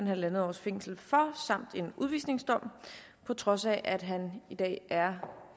halv års fængsel for samt en udvisningsdom på trods af at han i dag er